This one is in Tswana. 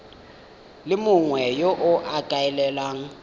le mongwe yo o ikaelelang